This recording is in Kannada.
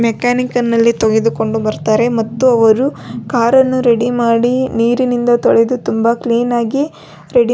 ಮೆಕ್ಯಾನಿಕಲ್ ಅಲ್ಲಿ ತೆಗೆದುಕೊಂಡು ಬರತ್ತಾರೆ ಮತ್ತು ಅವರು ಕಾರನ್ನು ರೆಡಿ ಮಾಡಿ ನೀರಿನಿಂದಾ ತೊಳೆದು ತುಂಬಾ ಕ್ಲೀನ್ ಆಗಿ --